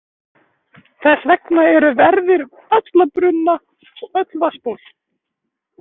Þess vegna eru verðir um alla brunna og öll vatnsból.